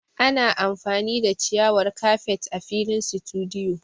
Ana amfani da ciyawar kafet a filin situdiyu